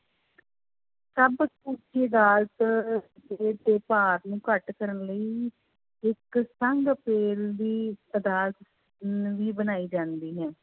ਸਰਵ ਉੱਚ ਅਦਾਲਤ ਦੇ ਦੋ ਭਾਰ ਨੂੰ ਘੱਟ ਕਰਨ ਲਈ ਅਦਾਲਤ ਨਵੀਂ ਬਣਾਈ ਜਾਂਦੀ ਹੈ।